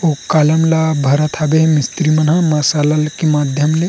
ओ कालम ला भरत हावे मिस्त्री मन ह मसला ले के माध्यम ले--